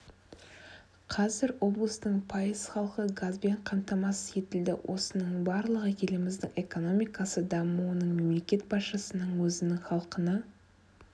қазір облыстың пайыз халқы газбен қамтамасыз етілді осының барлығы еліміздің экономикасы дамуының мемлекет басшысының өзінің халқына